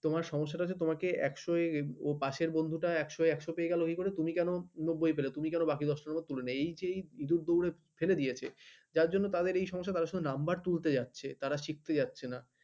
তোমার সমস্যাটা হছে যে তোমাকে ex ও এ ও পাশের বন্ধু ex ও এ পায়ে গেল এই করে তুমি কন